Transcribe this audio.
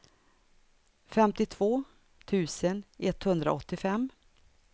femtiotvå tusen etthundraåttiofem